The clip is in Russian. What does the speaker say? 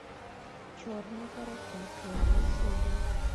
черные паруса первая серия